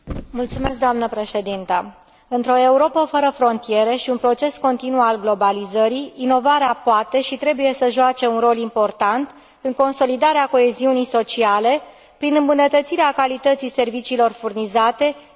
Într o Europă fără frontiere și un proces continuu al globalizării, inovarea poate și trebuie să joace un rol important în consolidarea coeziunii sociale, prin îmbunătățirea calității serviciilor furnizate, indiferent de domeniul acestora.